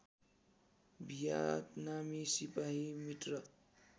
भियतनामी सिपाही मित्र